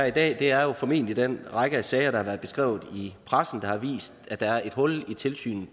i dag er jo formentlig den række af sager der har været beskrevet i pressen som har vist at der er et hul i tilsynet